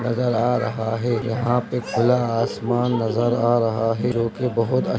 नजर आ रहा है यहाँ पे खुला आसमान नजर आ रहा है जो कि बोहोत अ --